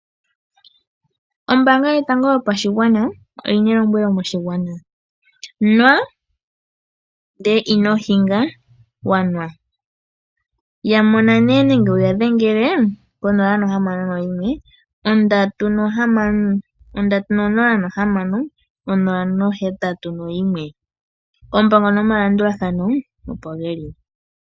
Ombaanga yotango yopashigwana oyina elombwelo moshigwana. Nwa, ndele ino hinga wanwa, yamona nee nenge wuya dhengele konola, ohamano, oyimwe ondatu, onola, ohamano, onola, ohetatu noyimwe. Oompango nomalandulathano opo geli.